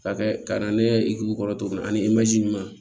Ka kɛ ka na ne ye i k'u kɔrɔ tuguni ani ɲuman